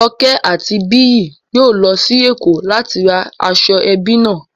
Joke àti Biyi yóò lọ sí Èkó láti ra aṣọ ẹbí náà